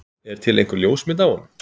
Er til einhver ljósmynd af honum?